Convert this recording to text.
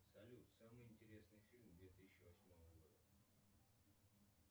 салют самый интересный фильм две тысячи восьмого года